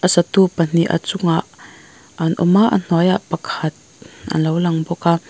satu pahnih a chungah an awm a a hnuaiah pakhat alo lang bawk a--